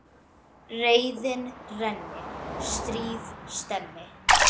Reiðin renni, stríð stemmi.